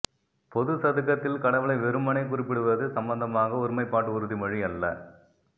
பொது சதுக்கத்தில் கடவுளை வெறுமனே குறிப்பிடுவது சம்பந்தமாக ஒருமைப்பாட்டு உறுதிமொழி அல்ல